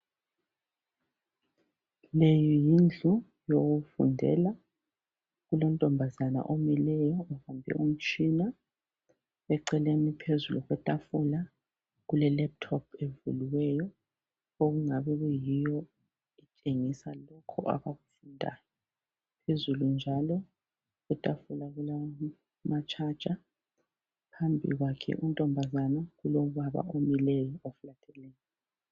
Le yindlu yokufundela, kulontombazana omileyo, kulomtshina eceleni phezu okwentafula, kule lephutophu evuliweyo okungabe kuyiyo entshengisa lokhu abakufundayo, phezulu njalo, kulama tshaja. Phambi kwakhe untombazana kulobaba omileyo